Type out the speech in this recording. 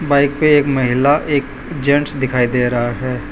Bike पे एक महिला एक जेंट्स दिखाई दे रहा है।